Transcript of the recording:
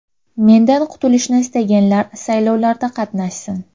Mendan qutulishni istaganlar saylovlarda qatnashsin.